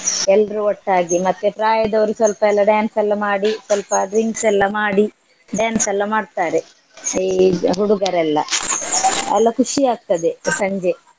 ಎಲ್ರೂ ಒಟ್ಟಾಗಿ ಮತ್ತೆ ಪ್ರಾಯದವ್ರು ಸಲ್ಪ ಎಲ್ಲ dance ಎಲ್ಲ ಮಾಡಿ ಸಲ್ಪ drinks ಎಲ್ಲ ಮಾಡಿ dance ಎಲ್ಲ ಮಾಡ್ತಾರೆ ಈ ಹುಡುಗರೆಲ್ಲ ಅಲ್ಲ ಖುಷಿ ಆಗ್ತದೆ ಸಂಜೆ.